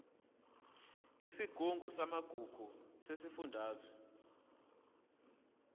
yesigungu samagugu sesifundazwe